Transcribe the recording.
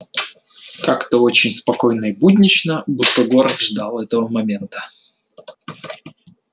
как-то очень спокойно и буднично будто город ждал этого момента